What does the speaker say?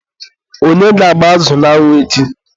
onye ga-agba azụ n'anwụ echi?